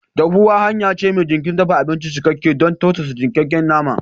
Dahuwa hanya ce mai jinkirin dafa abinci, cikakke don tausasa yankakken nama.